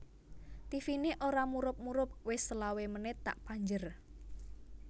Tivine ora murup murup wis selawe menit tak panjer